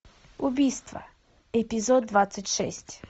убийство эпизод двадцать шесть